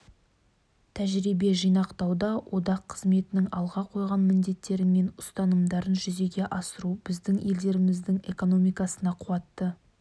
тәжірибе жинауда одақ қызметінің алға қойған міндеттері мен ұстанымдарын жүзеге асыру біздің елдеріміздің экономикасына қуатты